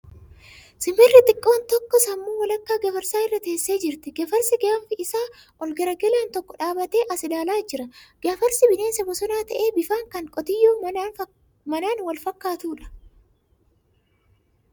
Simbirri xiqqoon takka sammuu walakkaa gafarsaa irra teessee jirti. Gafarsi gaanfi isaa ol garagalaan tokko dhaabbatee as ilaalaa jura. Gafarsi bineensa bosonaa ta'ee bifaan kan qotiyyoo manaan wal fakkaatudha .